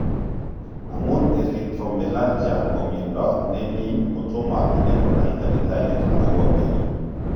Amun erythromelalgia ko miondo ne nin kotomo ine konai tagitariek agopo mioni.